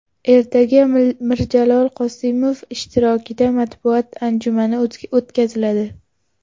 Ertaga Mirjalol Qosimov ishtirokida matbuot anjumani o‘tkaziladi.